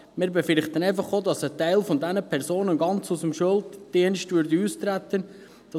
Wir befürchten einfach auch, dass ein Teil dieser Personen ganz aus dem Schuldienst austreten würde.